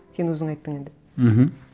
сен өзің айттың енді мхм